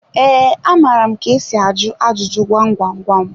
Ee, amara m ka esi ajụ ajụjụ gwam gwam gwam.